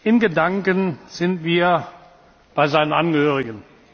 In Gedanken sind wir bei seinen Angehörigen.